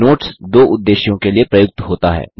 notes दो उद्देश्यों के लिए प्रयुक्त होता है